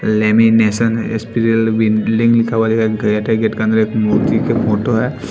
लेमिनेशनल हुआ है गेट है गेट के अंदर एक मूर्ति के फोटो है।